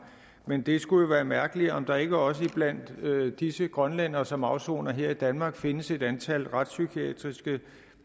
men det skulle være mærkeligt om der ikke også blandt disse grønlændere som afsoner her i danmark findes et antal retspsykiatriske